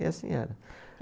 E assim era.